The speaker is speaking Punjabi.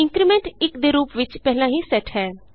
ਇੰਕਰੀਮੈਂਟ 1ਦੇ ਰੂਪ ਵਿਚ ਪਹਿਲਾਂ ਹੀ ਸੈੱਟ ਹੈ